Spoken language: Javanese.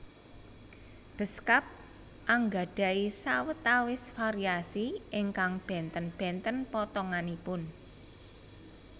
Beskap anggadhahi sawetawis variasi ingkang bènten bènten potonganipun